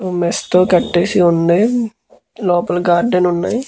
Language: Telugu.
మెష్ తో కట్టేసి ఉంది పక్కన గార్డెన్ ఉంది.